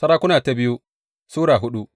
biyu Sarakuna Sura hudu